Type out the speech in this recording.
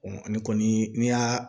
ani kɔni n'i y'a